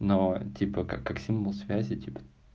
но типа как как символ связи типа